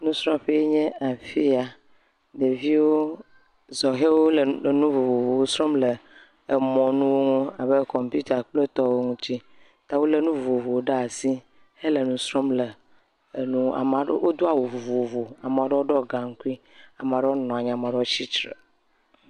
Nusrɔ̃ƒee nye afi ya, ɖeviwo, sɔhewo le enu vovovowo srɔ̃m le emɔnuwo ŋu abe kɔmpita kple etɔwo ŋuti. Ta wolé nu vovovowo ɖe asi hele nu srɔ̃m le, wodo awu vovovo, ame ɖewo ɖɔ gaŋkui, ame ɖewo nɔ anyi, ame ɖewo nɔ anyi, ame ɖewo tsitre.